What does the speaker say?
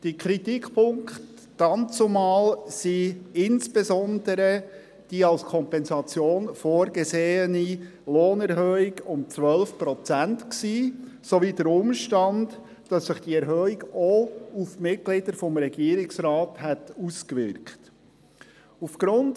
Die Kritikpunkte betrafen dazumal insbesondere die als Kompensation vorgesehene Lohnerhöhung um 12 Prozent sowie den Umstand, dass sich die Erhöhung auch auf die Mitglieder des Regierungsrates ausgewirkt hätte.